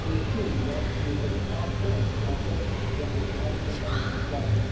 to ensure that we emerge faster and stronger from the economic and financial crisis.